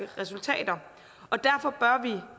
resultater og derfor bør vi